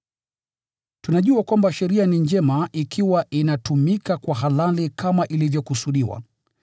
Tunajua kwamba sheria ni njema ikiwa inatumika kwa halali kama ilivyokusudiwa.